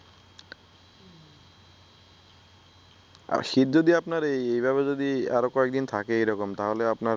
আর শীত যদি আপনার এইভাবে আরো কয়েকদিন থাকে এরকম তাহলে আপনার